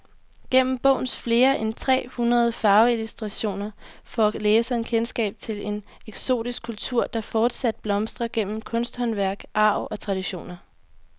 Gennem bogens flere end tre hundrede farveillustrationer får læseren kendskab til en eksotisk kultur, der fortsat blomstrer gennem kunsthåndværk, arv og traditioner.